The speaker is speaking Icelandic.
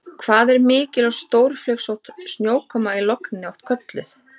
Hvað er mikil og stórflygsótt snjókoma í logni oft kölluð?